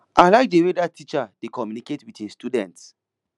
i like the way dat teacher dey communicate with im students